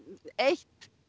ein